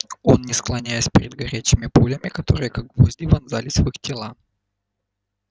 он не склоняясь перед горячими пулями которые как гвозди вонзались в их тела